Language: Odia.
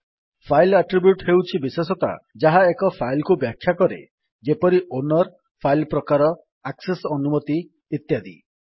ଫାଇଲ୍ ଆଟ୍ରିବ୍ୟୁଟ୍ ହେଉଛି ବିଶେଷତା ଯାହା ଏକ ଫାଇଲ୍ କୁ ବ୍ୟାଖ୍ୟା କରେ ଯେପରି ଓନର୍ଫାଇଲ୍ ପ୍ରକାର ଆକ୍ସେସ୍ ଅନୁମତି ଇତ୍ୟାଦି